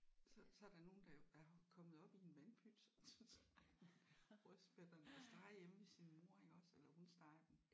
Så så er der nogen der jo er kommet op i en vandpyt. Rødspætterne og stege hjemme ved sin mor iggås eller hun steger dem